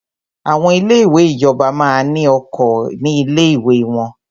Àwọn ilé ìwé ìjọba máa ní oko ní ilé ìwé wọ́n.